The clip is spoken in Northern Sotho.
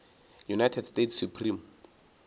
united states supreme